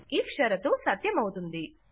if షరతు సత్యమవుతుంది